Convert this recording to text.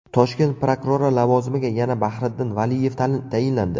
Toshkent prokurori lavozimiga yana Bahriddin Valiyev tayinlandi.